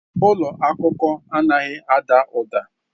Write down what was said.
Ụlọ akụkọ anaghị ada ụda.